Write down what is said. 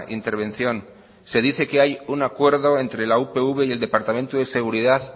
intervención se dice que hay un acuerdo entre la upv y el departamento de seguridad